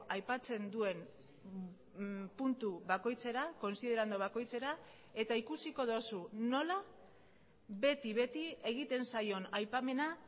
aipatzen duen puntu bakoitzera konsiderando bakoitzera eta ikusiko duzu nola beti beti egiten zaion aipamena